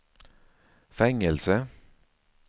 fängelse